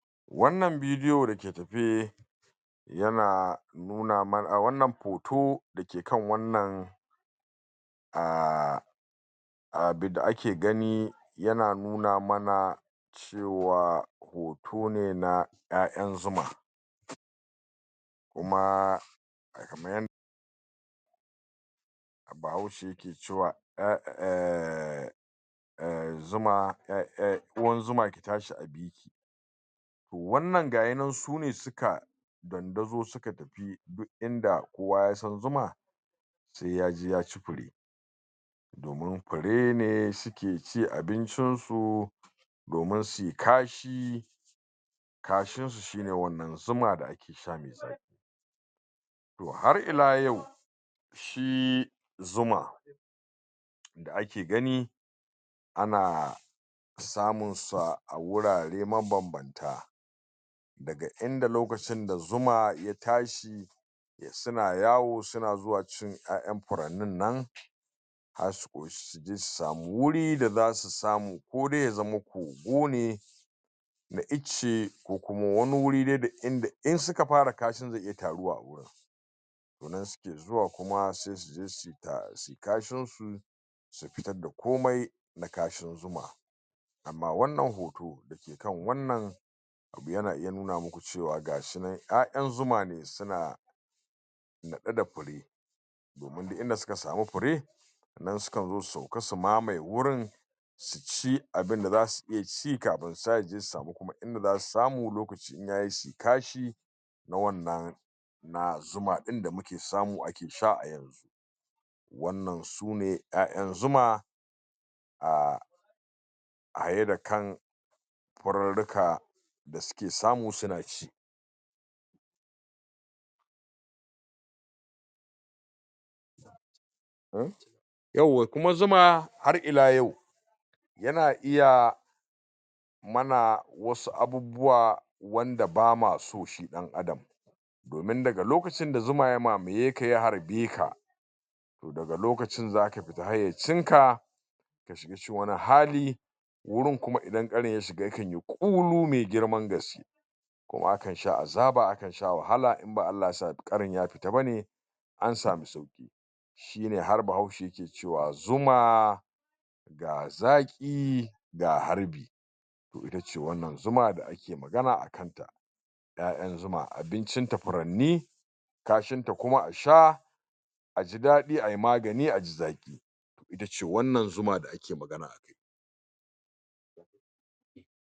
Wannan bidiyo da ke tafe yana nuna mana wannan hoto da ke kan wannan a abinda ake gani yana nuna mana cewa hoto ne ƴayan zuma kuma kaman Bahaushe yake cewa eh eh eh zuma eh eh ruwan zuma ki tsahi a wannan gayi nan sune suka dandazo suka tafi duk inda kowa ya san zuma se ya je ya ci fure domin fure ne suke cin abincin su domin suyi kashi kashin su shi ne wannan zuma da ake sha me zaƙi to har ila yau shi zuma da ake gani ana samun sa a wurare mabanbanta daga inda lokacin da zuma ya tsahi suna yawo suna zuwa cin yaƴan furannin nan har su ƙoshi suje su samu wuri da zasu samu ko dai ya zama kogo ne na icce, ko kuma wani wuri dai da inda in suka fara kashi zai iya taruwa a wurin to nan suke zuwa kuma sai su je suyi kashin su su fitar da komai na kashin zuma amma wannan hoto da ke kan wannan abu yana iya nuna muku cewa ga shi nan ƴayan zuma ne suna naɗe da fure domin duk inda suka samu fure nan sukan zo su sauka su mamaye wurin su ci abinda zasu iya ci kafin su tashi suje su samu kuma inda zasu samu lokaci in yayi suyi kashi na wannan na zuma ɗin da muke samu ake sha a yanzu wannan su ne ƴaƴan zuma a a yadda kan furruka da suke samu suna ci eh! yawwa kuma zuma har ila yau yana iya mana wasu abubuwa wanda bama so shi ɗan'adam domin daga lokacin da zuma ya mamaye ka ya harbe ka to daga lokacin zaka fita hayyacin ka ka shiga cikin wani hali, wurin kuma idan ƙarin ya shiga ya kan yi ƙulu me girmna gaske kuma akan sha azaba, akan sha wahala in ba Allah yasa ƙarin ya fita bane an samu sauƙi shi ne har bahaushe ke cewa zuma ga zaƙi ga harbi to ita ce wannan zuma da ake magana akan ta ƴaƴan zuma abincin ta furanni kashin ta kuma a sha a ji daɗi ayi magani a ji zaƙi ita ce wannan zuma da ake magana akai.